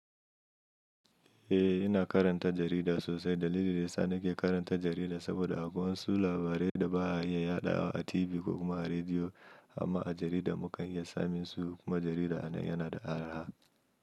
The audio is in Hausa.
Eh, ina karanta jarida sosai. Dalilin da yasa nake karanta jarida saboda akwai wasu labarai da ba a iya yadawa a TV ko kuma a rediyo, amma a jarida mukan iya samun su kuma jarida yana da araha.